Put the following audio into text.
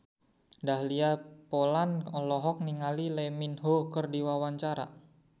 Dahlia Poland olohok ningali Lee Min Ho keur diwawancara